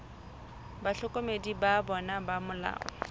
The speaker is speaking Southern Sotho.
bahlokomedi ba bona ba molao